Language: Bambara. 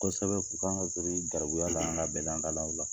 Kosɛbɛ, u ka ŋa giri gɛrɛbuya lahala bɛɛ la, an dal'aw la